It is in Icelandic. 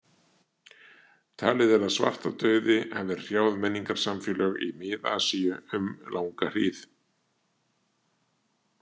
Talið er að svartadauði hafi hrjáð menningarsamfélög í Mið-Asíu um langa hríð.